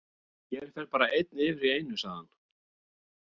Hér fer bara einn yfir í einu, sagði hann.